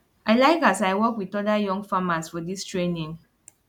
i like as i work with oda young farmers for dis training